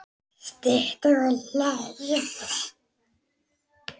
Stytta ykkur leið!